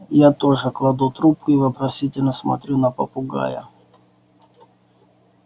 я тоже кладу трубку и вопросительно смотрю на попугая